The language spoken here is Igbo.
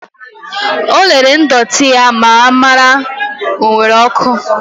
O lere ndọtị ya ka ọ mara ma ọ nwere oku.